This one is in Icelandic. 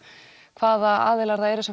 hvaða aðilar það eru